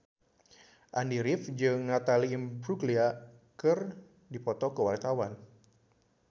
Andy rif jeung Natalie Imbruglia keur dipoto ku wartawan